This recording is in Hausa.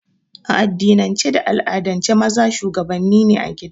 A addinin ce da al'adan ce maza shuwagabanni a gida